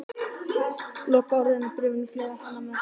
Lokaorðin í bréfinu gleðja hann mest.